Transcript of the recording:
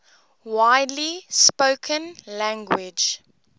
widely spoken language